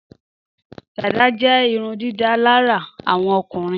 Dàdá jé irundídálárà àwọn ọkùnrin